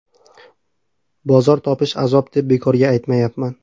Bozor topish azob deb bekorga aytmayapman.